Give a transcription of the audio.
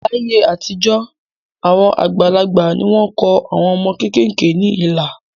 Láyé àtijọ́, àwọn àgbàlagbà ni wọ́n kọ àwọn ọmọ kéékèèké ní ilà